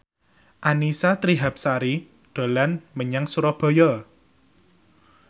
Annisa Trihapsari dolan menyang Surabaya